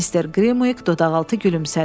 Mister Qrimviq dodaqaltı gülümsədi.